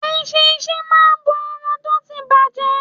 Eṣinṣin máa bo ẹran tó ti ń díbàjẹ́.